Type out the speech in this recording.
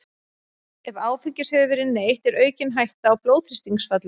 Ef áfengis hefur verið neytt er aukin hætta á blóðþrýstingsfalli.